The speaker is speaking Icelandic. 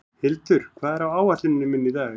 Hildur, hvað er á áætluninni minni í dag?